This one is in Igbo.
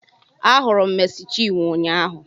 Ahụrụ m Meci Chinwo ụnyaahụ